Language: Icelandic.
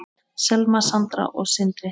Selma, Sandra og Sindri.